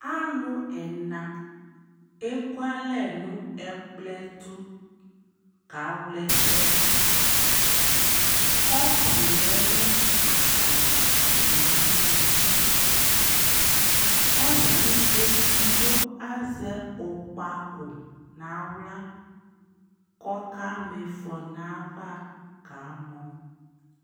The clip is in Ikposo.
alò ɛna eku alɛ no ɛkplɔ ɛtò kawla ɛsɛ do kɔpu lɛ no atadza atami alɔ ɔsi edigbo azɛ ɛzɔkpako n'ala k'ɔka ma ifɔ n'ava kamɔ